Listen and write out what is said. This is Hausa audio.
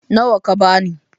Nawa ka bani?